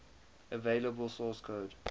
available source code